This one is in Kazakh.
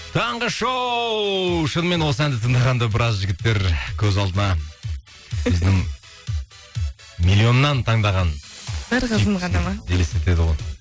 таңғы шоу шынымен осы әнді тыңдағанда біраз жігіттер көз алдына өзінің миллионнан таңдаған